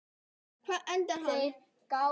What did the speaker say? Hvar endar hann?